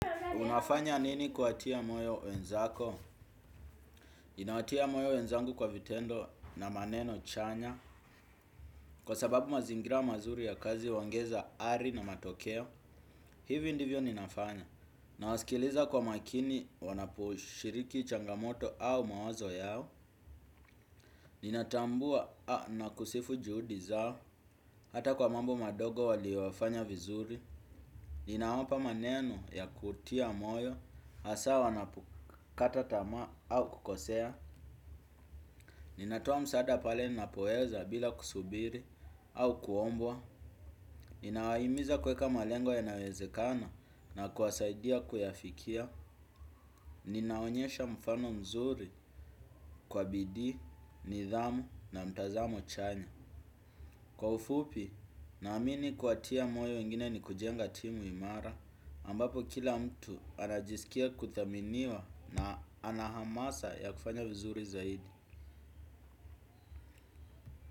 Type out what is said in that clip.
Unafanya nini kuwatia moyo wenzako? Nawatia moyo wenzangu kwa vitendo na maneno chanya. Kwa sababu mazingira mazuri ya kazi uongeza ari na matokeo, hivi ndivyo ninafanya. Na wasikiliza kwa makini wanaposhiriki changamoto au mawazo yao. Ninatambua na kusifu juhudi zao, hata kwa mambo madogo walioyafanya vizuri. Ninawapa maneno ya kutia moyo, hasa wanapo kata tama au kukosea. Ninatia msaada pale ninapoweza bila kusubiri au kuombwa. Ninawahimiza kuweka malengo yanayowezekana na kuwasaidia kuyafikia. Ninaonyesha mfano mzuri kwa bidii, nidhamu na mtazamo chanya kwa ufupi, naamini kuwatia moyo wengine ni kujenga timu imara ambapo kila mtu anajisikia kuthaminiwa na anahamasa ya kufanya vizuri zaidi.